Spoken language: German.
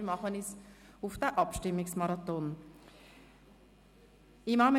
Wir begeben uns auf diesen Abstimmungsmarathon zum Vorstoss: